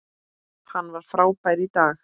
Hann var frábær í dag.